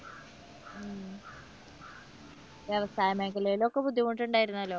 വ്യവസായ മേഖലയിൽ ഒക്കെ ബുദ്ധിമുട്ടുണ്ടായിരുന്നല്ലോ.